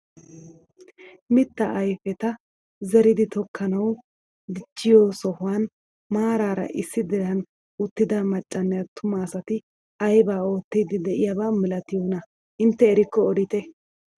Mittaa ayfeta zeridi tokkanawu dichchiyoo sohuwaan maarara issi diran uttida maccanne attuma asati aybaa oottiidi de'iyaaba milatiyoonaa intte erikko odite?